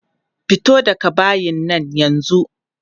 Fito daga bayin nan yanzu!